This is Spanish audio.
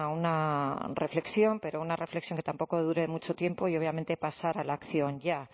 una reflexión pero una reflexión que tampoco dure mucho tiempo y obviamente pasar a la acción ya